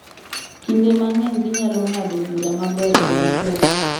Kinde mang’eny ginyalo ng’ado bura maber e wi pek